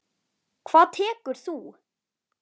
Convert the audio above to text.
Hvað tekur þú?